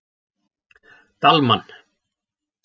Dalmann